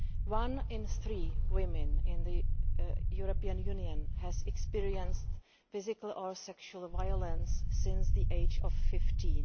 One in three women in the European Union has experienced physical or sexual violence since the age of fifteen.